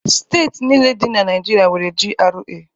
Steeti niile dị na Naịjirịa nwere GRA.